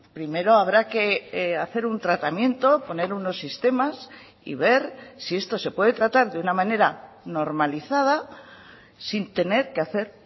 primero habrá que hacer un tratamiento poner unos sistemas y ver si esto se puede tratar de una manera normalizada sin tener que hacer